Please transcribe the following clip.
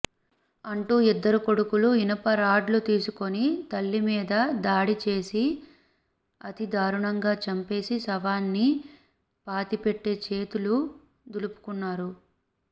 అంటూ ఇద్దరు కొడుకులు ఇనుప రాడ్లు తీసుకుని తల్లిమీద దాడి చేసి అతిదారుణంగా చంపేసి శవాన్ని పాతిపెట్టి చేతులు దులుపుకున్నారు